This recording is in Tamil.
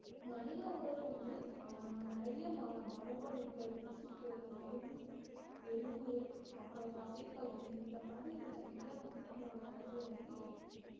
மனித உடல் வந்து அஹ் நிறைய ம~ மரபணுக்கள் திசுக்கள் எலும்பு எலும்பு அப்புறம் தசைப்பகுதி இந்த மாதிரி நிறைய வந்து நம்மளோட உடம்புல வந்து இருக்கு